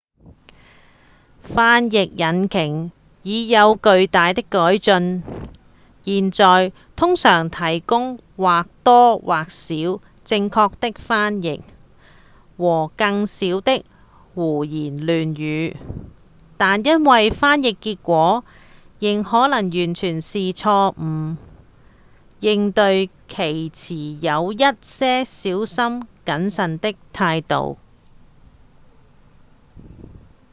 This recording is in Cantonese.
翻譯引擎已有巨大的改進現在通常提供或多或少正確的翻譯和更少的胡言亂語但因為翻譯結果仍可能完全是錯誤的應對其持有一些小心謹慎的態度